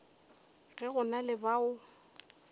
ge go na le bao